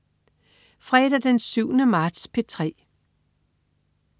Fredag den 7. marts - P3: